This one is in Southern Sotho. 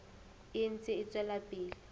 e ntse e tswela pele